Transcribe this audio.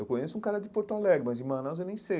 Eu conheço um cara de Porto Alegre, mas de Manaus eu nem sei.